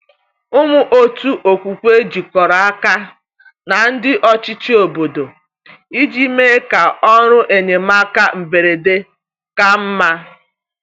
Ụmụ otu okwukwe jikọrọ aka na ndị ọchịchị obodo iji mee ka ọrụ enyemaka mberede ka mma.